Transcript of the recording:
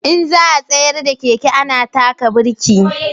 In za a tsayar da keke ana taka birki